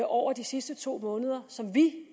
over de sidste to måneder som vi